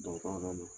Dɔgɔtɔrɔ nana